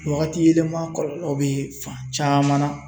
Wagati yɛlɛma kɔlɔlɔ bɛ fan caman na.